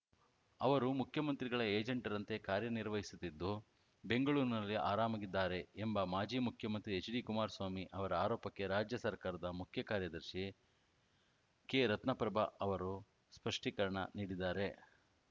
ಅವರು ಮುಖ್ಯಮಂತ್ರಿಗಳ ಏಜೆಂಟರಂತೆ ಕಾರ್ಯನಿರ್ವಹಿಸುತ್ತಿದ್ದು ಬೆಂಗಳೂರಿನಲ್ಲಿ ಆರಾಮಾಗಿದ್ದಾರೆ ಎಂಬ ಮಾಜಿ ಮುಖ್ಯಮಂತ್ರಿ ಎಚ್‌ಡಿಕುಮಾರಸ್ವಾಮಿ ಅವರ ಆರೋಪಕ್ಕೆ ರಾಜ್ಯ ಸರ್ಕಾರದ ಮುಖ್ಯ ಕಾರ್ಯದರ್ಶಿ ಕೆರತ್ನಪ್ರಭಾ ಅವರು ಸ್ಪಷ್ಟೀಕರಣ ನೀಡಿದ್ದಾರೆ